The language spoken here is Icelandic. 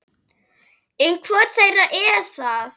En hvor þeirra er það?